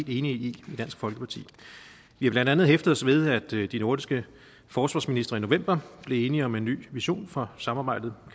i i dansk folkeparti vi har blandt andet hæftet os ved at de nordiske forsvarsministre i november blev enige om en ny vision for samarbejdet